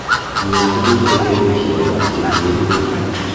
Iun tuguk che kiomisien ak che kiyeen beek.